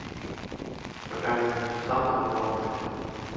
покажи санта лапушки